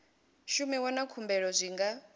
shumiwa na khumbelo zwi nga